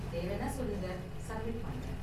தேவைனா சொல்லுங்க, சப்மிட் பண்றேன்.